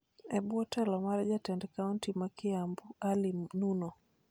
e bwo telo mar Jatend kaonti ma Kiambu, Ali Nuno.